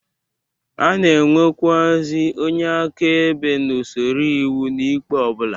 A na-enwekwuazị onye akaebe na usoro iwu n'ikpe ọ bụla.